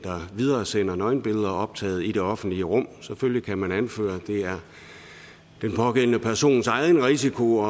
videresender nøgenbilleder optaget i det offentlige rum selvfølgelig kan man anføre at det er den pågældende persons egen risiko